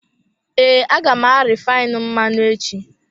Ee, a ga m arifainu mmanụ echi.